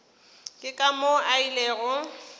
ke ka moo a ilego